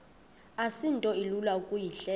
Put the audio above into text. asinto ilula ukuyihleba